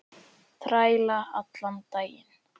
Þræla allan daginn!